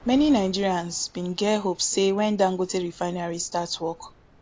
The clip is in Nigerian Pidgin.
many nigerians bin get hope say wen dangote refinery start work